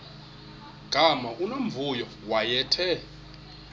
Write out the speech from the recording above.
gama unomvuyo wayethe